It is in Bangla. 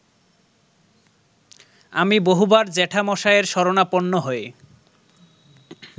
আমি বহুবার জ্যাঠামশায়ের শরণাপন্ন হয়ে